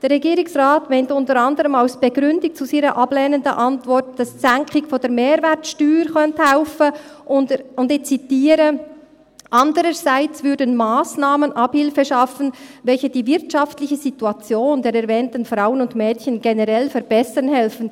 Der Regierungsrat meint unter anderem als Begründung zu seiner ablehnenden Antwort, dass die Senkung der Mehrwertsteuer helfen könnte, und ich zitiere: «Andererseits würden Massnahmen Abhilfe schaffen, welche die wirtschaftliche Situation der erwähnten Frauen und Mädchen generell verbessern helfen.